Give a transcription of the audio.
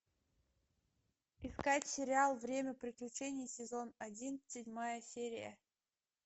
искать сериал время приключений сезон один седьмая серия